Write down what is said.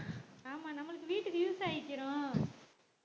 ஆமா நம்மளுக்கு வீட்டுக்கு use ஆயிக்கிறோம்